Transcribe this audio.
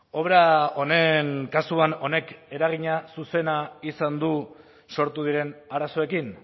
obra honen kasuan honek eragina zuzena izan du sortu diren arazoekin